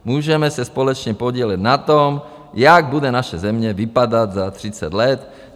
Můžeme se společně podílet na tom, jak bude naše země vypadat za 30 let.